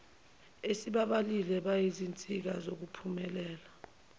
esibabalile bayizinsika zokuphumelela